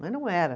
Mas não era.